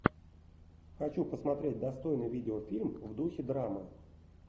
хочу посмотреть достойный видеофильм в духе драмы